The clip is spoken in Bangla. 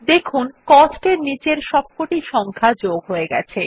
দেখুন কস্ট এর নীচের সবকটি সংখ্যা যোগ হয়ে গেছে